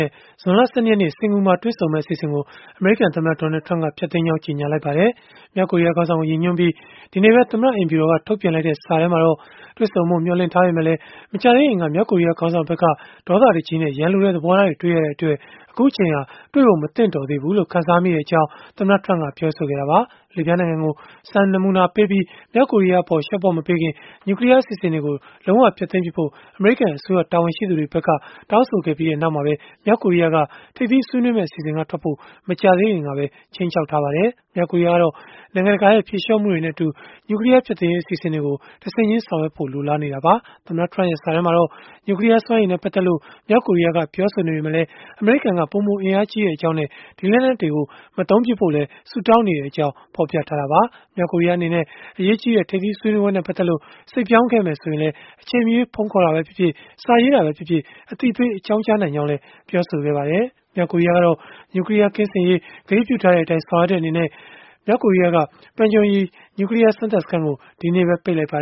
ဲ့ ဇွန်လ ၁၂ ရက်နေ့ စင်္ကာပူမှာ တွေ့ဆုံမယ့် အစီအစဉ်ကို အမေရိကန်သမ္မတ Donald Trump က ဖျက်သိမ်းလိုက်ကြောင်း ကြေညာလိုက်ပါတယ်။ မြောက်ကိုရီးယား ခေါင်းဆောင်ကို ရည်ညွှန်းပြီး ဒီကနေ့ပဲ သမ္မတ အိမ်ဖြူတော်က ထုတ်ပြန်လိုက်တဲ့ စာထဲမှာတော့ တွေ့ဆုံဖို့ မျှော်လင့်ထားပေမဲ့လည်း၊ မကြာသေးခင်က မြောက်ကိုရီးယား ခေါင်းဆောင်ဘက်က ဒေါသတကြီးနဲ့ ရန်လိုတဲ့ သဘောထားတွေ တွေ့ရတဲ့အတွက် အခုအချိန်ဟာ တွေ့ဖို့ မသင့်တော်သေးဘူးလို့ ခံစားမိတဲ့အကြောင်း သမ္မတ Trump ကပြောဆိုခဲ့တာပါ။ လစ်ဗျားနိုင်ငံကို စံနမူနာပေးပြီး မြောက်ကိုရီးယားအပေါ် လျှော့ပေါ့ မပေးခင် နျူကလီးယား အစီအစဉ်တွေကို လုံးဝဖျသ်သိမ်းပစ်ဖို့ အမေရိကန် အစိုးရ တာဝန်ရှိသူတွေက တောင်းဆိုခဲ့ပြီး နောက်မှာပဲ မြောက်ကိုရီးယားက ထိပ်သီးဆွေးနွေးမယ့် အစီအစဉ်က ထွက်ဖို့ မကြာသေးခင်ကပဲ ခြိမ်းခြောက်ထားပါတယ်။ မြောက်ကိုရီးယား ကတော့ နိုင်ငံတကာရဲ့ ဖြေလျှော့မှုတွေနဲ့အတူ နျူကလီးယား ဖျက်သိမ်းရေး အစီအစဉ်တွေကို တဆင့်ချင်း ဆောင်ရွက်ဖို့ လိုလားနေတာပါ။ သမ္မတ Trump ရဲ့ စာထဲမှာတော့ နျူကလီးယား စွမ်းရည်နဲ့ ပတ်သက်လို့ မြောက်ကိုရီးယားက ပြောဆိုနေပေမဲ့၊ အမေရိကန်က ပိုမို အင်အားကြီးတဲ့ အကြောင်းနဲ့ ဒီလက်နက်တွေကို မသုံးဖြစ်ဖို့ ဆုတောင်းနေပါတယ်လို့လည်း ဖော်ပြထားတာပါ။ မြောက်ကိုရီးယား အနေနဲ့ အရေးကြီးတဲ့ ထိပ်သီးဆွေးနွေးပွဲနဲ့ ပတ်သက်လို့ စိတ်ပြောင်းခဲ့မယ် ဆိုရင် အချိန်မရွေး ဖုန်းခေါ်တာပဲဖြစ်ဖြစ်၊ စာရေးတာပဲဖြစ်ဖြစ် အသိပေး အကြောင်းကြားနိုင်ကြောင်းလည်း ပြောဆိုခဲ့ပါတယ်။ မြောက်ကိုရီးယားကတော့ နျူကလီးယား ကင်းစင်ရေး ကတိပြုထားတဲ့အတိုင်း ဆောင်ရွက်တဲ့ အနေနဲ့ မြောက်ကိုရီးယားက Punggye-ri နျူကလီးယားစမ်းသပ်စခန်းကို ဒီနေ့ပဲ ပိတ်လိုက်ပါ